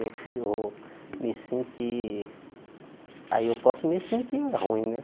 Eu eu vou me sentir... Aí eu posso me sentir ruim, né?